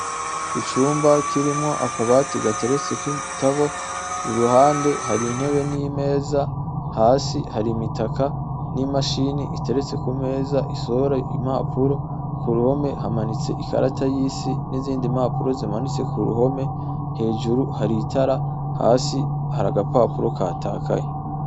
Icumba kirimwo akabati gateretseko ibitabo, iruhande hari intebe n'imeza, hasi hari umutaka n'imashine iteretse ku meza isohora ibipapuro, ku ruhome hamanitse ikarata y'isi nizindi mpapuro, hejuru hari itara hasi hari agapapuro katakaye.